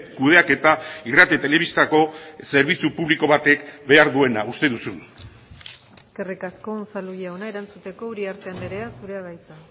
kudeaketa irrati telebistako zerbitzu publiko batek behar duena uste duzun eskerrik asko unzalu jauna erantzuteko uriarte andrea zurea da hitza